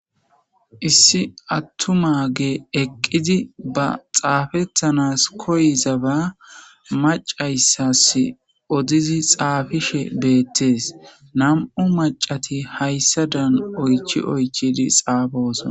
Issi atumayi eqidi baa xaafetanasi koyizaba maccayisayisi odidi xaafishshe betesi namu maccati hayisadani oyichchi xaafosona